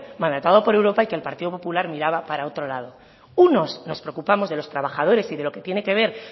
mandatado por europa y que el partido popular miraba para otro lado unos nos preocupamos de los trabajadores y de lo que tiene que ver